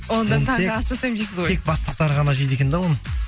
онда таңғы ас жасаймын дейсіз ғой тек бастықтар ғана жейді екен да оны